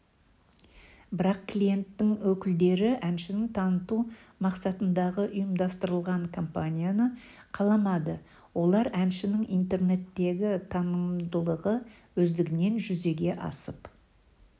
бірақ клиенттің өкілдері әншіні таныту мақса-тындағы ұйымдастырылған компанияны қаламады олар әншінің интернеттегі танымалдылығы өздігінен жүзеге асып